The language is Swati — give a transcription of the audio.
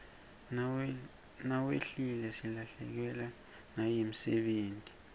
nawehlile silahlekewa nayimdebeti